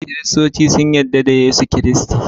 Kiristoci sun yadda da Yesu Kristi.